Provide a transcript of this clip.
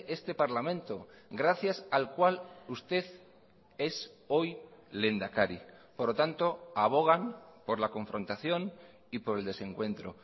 este parlamento gracias al cual usted es hoy lehendakari por lo tanto abogan por la confrontación y por el desencuentro